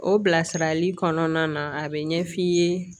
O bilasirali kɔnɔna na a bɛ ɲɛ f'i ye